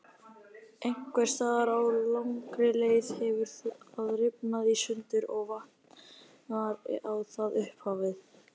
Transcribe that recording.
Einhvers staðar á langri leið hefur það rifnað í sundur og vantar á það upphafið.